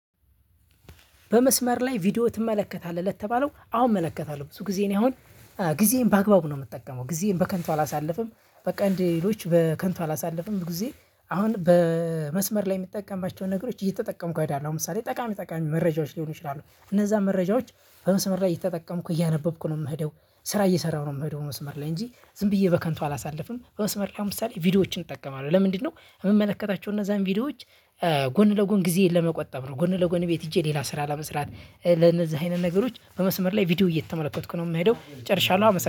በመስመር ላይ ቪዲዮ ትመለከታለህ ለተባለው አሁን እመለከታለሁ ብዙ ጊዜ ነው አሁን ጊዜን በአግባቡ ነው የምጠቀመው ጊዜን በከንቱ አላሳልፍም። በቃ እንደ ሌሎች በከንቱ አላሳለፍም ጊዜ አሁን በመስመር ላይ የምትጠቀማቸውን ነገሮች እየተጠቀምኩ አይደለም ለምሳሌ ጠቃሚ ጠቃሚ መረጃዎች ሊሆኑ ይችላሉ። እነዛ መረጃዎች በመስመር ላይ እየተጠቀምኩ እያነበብኩ ነው የምሄደው ስራ እየሰራሁ ነው የምሄደው በመስመር ላይ እንጂ ዝም ብዬ በከንቱ አላሳልፍም። በመስመር ለምሳሌ ቪዲዮዎችን እጠቀማለሁ ለምንድነው የምመለከታቸው እነዛን ቪዲዮዎች? ጎን ለጎን ጊዜ ለመቆጠብ ነው። ጎን ለጎን ቤት ሄጄ ሌላ ስራ ለመስራት ለነዛ አይነት ነገሮች በመስመር ላይ ቪዲዮ እየተመለከትኩ ነው የምሄደው ጨርሻለሁ